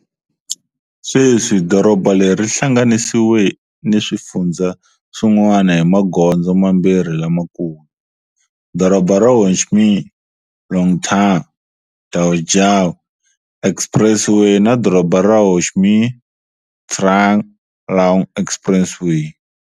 Sweswi, doroba leri ri hlanganisiwe ni swifundzha swin'wana hi magondzo mambirhi lamakulu-Doroba ra Ho Chi Minh-Long Thanh-Dau Giay Expressway na Doroba ra Ho Chi Minh-Trung Luong Expressway.